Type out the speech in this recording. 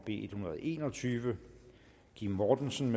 en hundrede og en og tyve kim mortensen